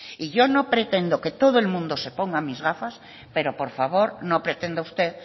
y yo no pretendo que todo el mundo se ponga mis gafas pero por favor no pretenda usted